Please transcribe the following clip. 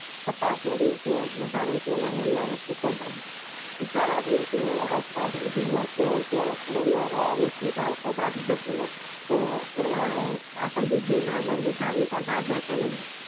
છતાં તે દિવસે વધારે તેના મનમાં એક તુક્કો જાગ્યો વિચાર આવ્યો કે આસપાસના ધુમ્મસ છો ગરોડિયા ના હેઠી ઝાડ પર બાજી જતું હોય તો એવા ઝાકળ બિંદુ નાયલોન ની થાળી પર બાજે કે નહીં?